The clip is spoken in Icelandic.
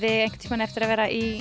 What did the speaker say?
eigið einhvern tímann eftir að vera í